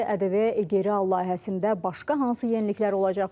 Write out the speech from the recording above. ƏDV geri al layihəsində başqa hansı yeniliklər olacaq?